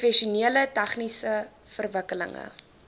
professioneel tegniese verwikkelinge